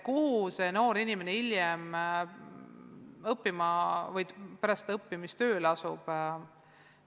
Kuhu see noor inimene hiljem, pärast õppimist tööle asub?